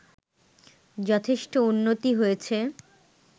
যথেষ্ট উন্নতি হয়েছে